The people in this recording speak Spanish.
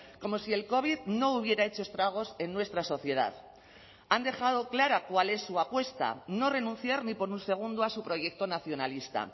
como si el covid no hubiera hecho estragos en nuestra sociedad han dejado clara cuál es su apuesta no renunciar ni por un segundo a su proyecto nacionalista